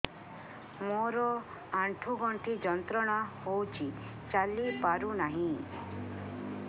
ମୋରୋ ଆଣ୍ଠୁଗଣ୍ଠି ଯନ୍ତ୍ରଣା ହଉଚି ଚାଲିପାରୁନାହିଁ